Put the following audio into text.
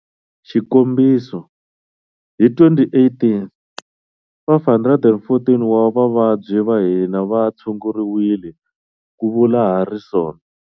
Xikombiso, hi 2018, 514 wa vavabyi va hina va tshunguriwile, ku vula Harrison.